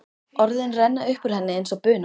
Orðin renna upp úr henni eins og buna.